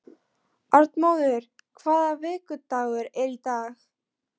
Arnmóður, hvaða vikudagur er í dag?